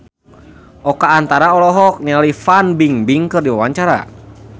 Oka Antara olohok ningali Fan Bingbing keur diwawancara